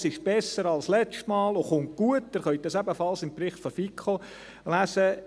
Es ist besser als letztes Mal und kommt gut, Sie können dies ebenfalls im Bericht der FiKo lesen.